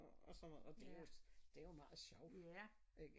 Og sådan noget og det jo det jo meget sjovt ikke